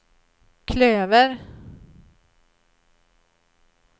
klöver